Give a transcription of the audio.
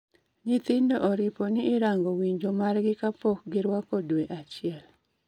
Nyithindo oripo ni irango winyo margi ka pok giruako dwe achiel